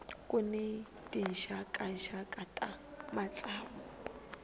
ku ni tinxakaxaka ta matsavu